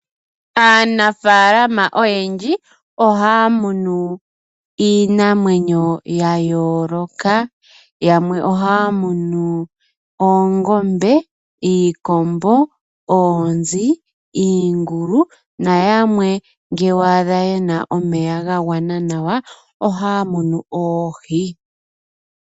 Aanafalama oyendji ohaya munu iinamwenyo ya yoloka, yamwe ohaya munu oongombe, iikombo, oonzi, iingulu noyamwe ngele wa adha yena omeya ga gwana nawa ohaya munu oohi.